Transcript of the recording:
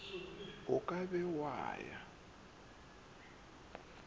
o ka be wa ya